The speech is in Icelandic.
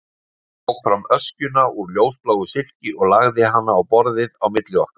Hún tók fram öskjuna úr ljósbláu silki og lagði hana á borðið á milli okkar.